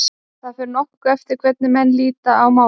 Það fer nokkuð eftir hvernig menn líta á málið.